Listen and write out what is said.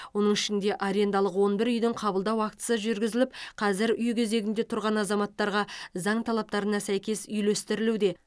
оның ішінде арендалық он бір үйдің қабылдау актісі жүргізіліп қазір үй кезегінде тұрған азаматтарға заң талаптарына сәйкес үйлестірілуде